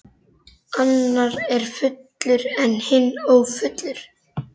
Annar er fullur en hinn ófullur.